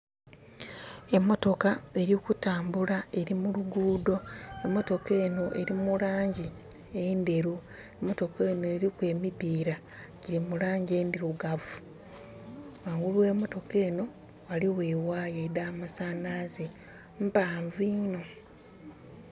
Emotoka eli kutambula eli mu luguudho. Emotoka enho eli mu laangi endheru. Emotoka enho eliku emipiira gyiri mu laangi endhirugavu. Ghangulu ghe emotoka enho, ghaligho e wire edh'amasanhalaze. Mpaanvu inho.